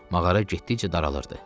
Mağara getdikcə daralırdı.